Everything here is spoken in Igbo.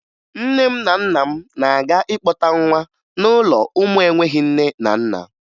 Nne m na nna m na-aga ịkpọta nwa n'ụlọ ụmụ enweghi nne na nna